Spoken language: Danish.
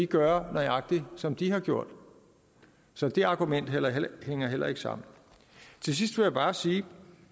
gøre nøjagtig som de har gjort så det argument hænger heller ikke sammen til sidst vil jeg bare sige at